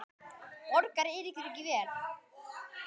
Borgar Eiríkur ekki vel?